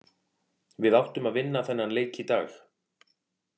Við áttum að vinna þennan leik í dag.